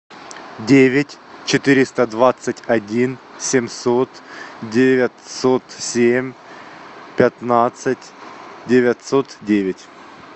девять четыреста двадцать один семьсот девятьсот семь пятнадцать девятьсот девять